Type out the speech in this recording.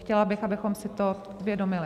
Chtěla bych, abychom si to uvědomili.